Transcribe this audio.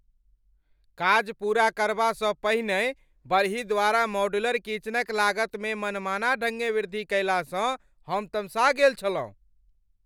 काज पूरा करबासँ पहिनहि बड़ही द्वारा मॉड्यूलर किचनक लागतमे मनमाना ढङ्गे वृद्धि कयलासँ हम तमसा गेल छलहुँ।